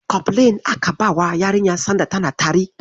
Kofilin aka bawa yarinyar sanda tana tari.